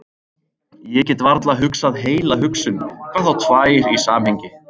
Ég get varla hugsað heila hugsun, hvað þá tvær í samhengi.